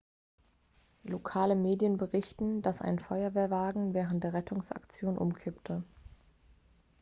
lokale medien berichten dass ein feuerwehrwagen während der rettungsaktion umkippte